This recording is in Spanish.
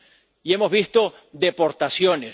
y hemos visto deportaciones